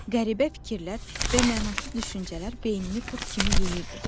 Qəribə fikirlər və mənasız düşüncələr beynini qurd kimi yeyirdi.